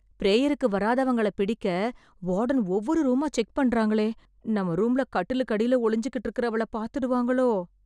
ப்ரேயருக்கு வராதவங்கள பிடிக்க, வார்டன் ஒவ்வொரு ரூமா செக் பண்றாங்களே... நம்ம ரூம்ல கட்டிலுக்கு அடியில ஒளிஞ்சுக்கிட்டு இருக்கறவள பாத்துடுவாங்களோ...